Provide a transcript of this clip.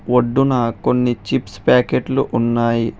ఒడ్డున కొన్ని చిప్స్ ప్యాకెట్లు ఉన్నాయి.